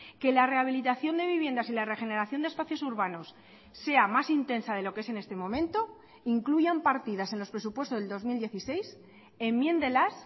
que la rehabilitación de viviendas y la regeneración de espacios urbanos sea más intensa de lo que es en este momento incluyan partidas en los presupuestos del dos mil dieciséis enmiéndelas